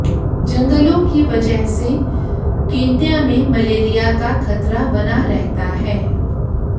जंगलों की वजह से केन्या में मलेरिया का खतरा बना रहता है